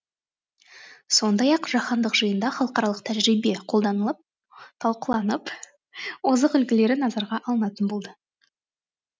сондай ақ жаһандық жиында халықаралық тәжірибе талқыланып озық үлгілері назарға алынатын болды